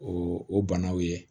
O o banaw ye